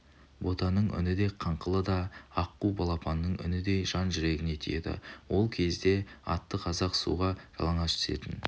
ботаның үні де қыңқылы да аққу балапанының үніндей жан жүрегіңе тиеді ол кезде аты қазақ суға жалаңаш түсетін